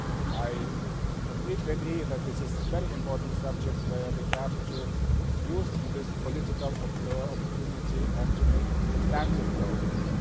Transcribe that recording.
I completely agree that this is a very important subject where we have to use this political opportunity and make substantive progress.